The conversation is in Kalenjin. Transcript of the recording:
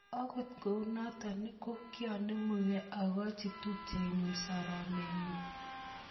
Akut kou notok, ko kikonemugee akochi tupchenyu soromnyenyu.